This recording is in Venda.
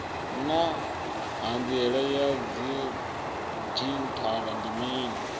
naa hanziela ya didzhithala ndi mini